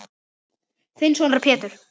Þinn sonur, Pétur.